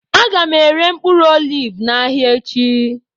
Aga m ere mkpụrụ oliv n'ahịa echi